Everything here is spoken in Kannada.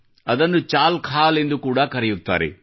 ಅದನ್ನು ಚಾಲ್ ಖಾಲ್ ಎಂದು ಕೂಡಾ ಕರೆಯುತ್ತಾರೆ